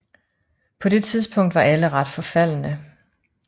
På det tidspunkt var alle ret forfaldne